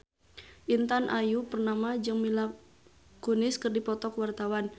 Intan Ayu Purnama jeung Mila Kunis keur dipoto ku wartawan